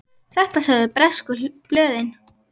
Þetta sögðu bresku blöðin.